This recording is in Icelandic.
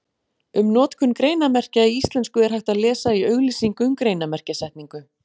Um notkun greinarmerkja í íslensku er hægt að lesa í auglýsingu um greinarmerkjasetningu.